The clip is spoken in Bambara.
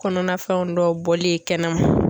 Kɔnɔna fɛnw dɔw bɔli ye kɛnɛma.